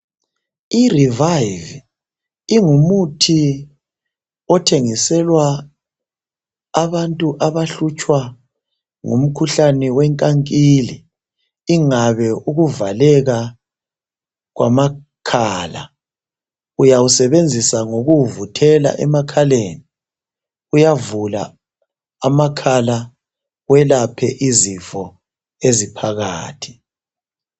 IRevive ingumuthi ithengiselwa abantu abahlutshwa ngumkhuhlane wenkankili, ingabe ukuvaleka kwamakhala. Uyawusebenzisa ngokuwuvuthela emakhaleni uyavula amakhala welaphe izifo eziphakathi.